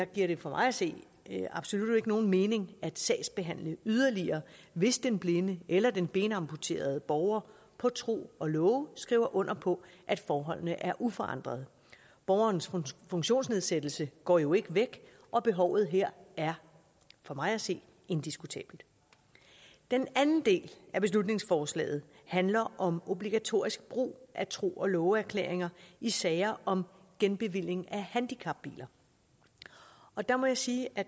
giver det for mig at se absolut ikke nogen mening at sagsbehandle yderligere hvis den blinde eller den benamputerede borger på tro og love skriver under på at forholdene er uforandrede borgerens funktionsnedsættelse går jo ikke væk og behovet her er for mig at se indiskutabelt den anden del af beslutningsforslaget handler om obligatorisk brug af tro og love erklæringer i sager om genbevilling af handicapbiler og der må jeg sige at